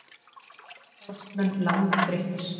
Margir starfsmenn langþreyttir